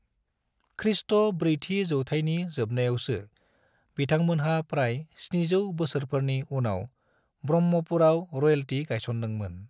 ख्रीष्ट ब्रैथि जौथायनि जोबनायावसो बिथांमोनहा प्राय 700 बोसोरफोरनि उनाव ब्रह्मपुरआव रयेल्टी गायसनदोंमोन।